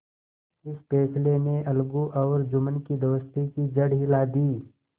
इस फैसले ने अलगू और जुम्मन की दोस्ती की जड़ हिला दी